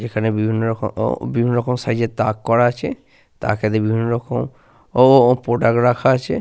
যেখানে বিভিন্ন রকম ও বিভিন্ন রকম সাইজের তাক করা আছে। তাকেতে বিভিন্ন রকম ও ও প্রোডাক্ট রাখা আছে।